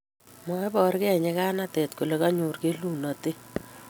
maibor kei nyikanatet kole kanyor kelunotet